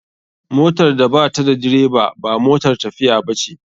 Motar da bata da direba ba motar tafiiya bace.